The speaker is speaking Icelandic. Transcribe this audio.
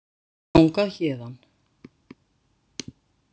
Það er stutt þangað héðan.